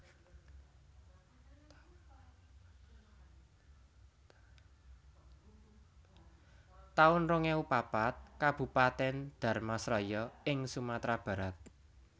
taun rong ewu papat Kabupaten Dharmasraya ing Sumatra Barat